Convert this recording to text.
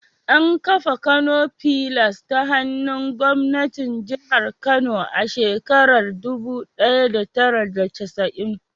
An kafa Kano fillars ta hannun gwamnatin jihar Kano a shekarar dubu daya da tara da casa'in.